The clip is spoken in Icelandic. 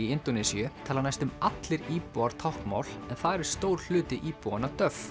í Indónesíu tala næstum allir íbúar táknmál en þar er stór hluti íbúanna